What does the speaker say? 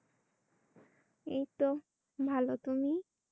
এই তো ভাল। তুমি?